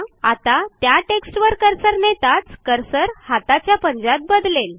आता त्या टेक्स्टवर कर्सर न्हेताच कर्सर हाताच्या पंजात बदलेल